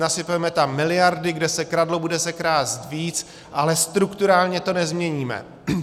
Nasypeme tam miliardy, kde se kradlo, bude se krást víc, ale strukturálně to nezměníme.